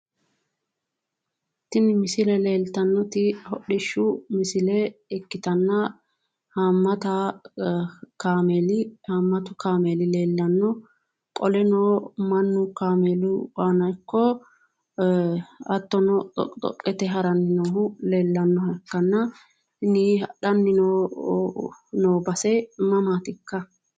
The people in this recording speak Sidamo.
Tini misile leeltanno hodhishu misle ikkitana haamata haamatu kamel leelanno qoleno mannu kaamelu aana ikko hattono dhoqi dhoqete harannohu leelanoha ikkana tin hadhanni noo base mamaatikka?